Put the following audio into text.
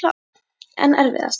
En erfiðasti?